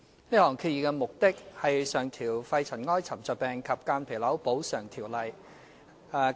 這項議案的目的是上調《肺塵埃沉着病及間皮瘤條例》......